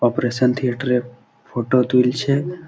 Operation theatre -এর photo তুলছে-এ।